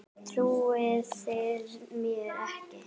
Trúið þið mér ekki?